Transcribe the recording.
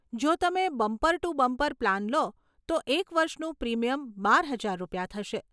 જો તમે bumper to bumper plan લો તો એક વર્ષનું પ્રીમિયમ બાર હજાર રૂપિયા થશે.